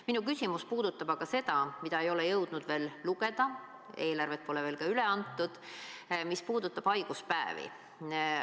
Minu küsimus puudutab aga seda, mida ei ole jõudnud veel lugeda, eelarvet pole veel ka üle antud, see puudutab haiguspäevi.